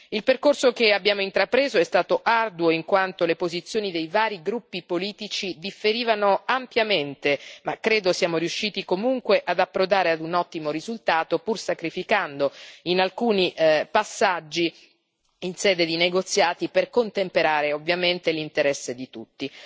Il percorso che abbiamo intrapreso è stato arduo, in quanto le posizioni dei vari gruppi politici differivano ampiamente, ma credo siamo riusciti comunque ad approdare a un ottimo risultato, pur sacrificando alcuni passaggi in sede di negoziati, per contemperare ovviamente l'interesse di tutti.